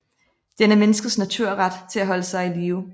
Den er menneskets naturret til at holde sig i live